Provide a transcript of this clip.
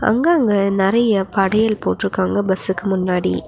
அங்கங்க நெறைய படையல் போட்ருக்காங்க பஸ்க்கு முன்னாடி.